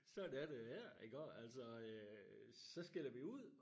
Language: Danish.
Sådan er det her iggå altså øh så skælder vi ud